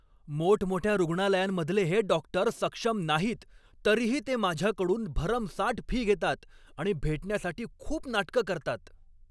मोठमोठ्या रुग्णालयांमधले हे डॉक्टर सक्षम नाहीत, तरीही ते माझ्याकडून भरमसाठ फी घेतात आणि भेटण्यासाठी खूप नाटकं करतात.